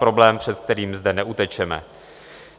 Problém, před kterým zde neutečeme.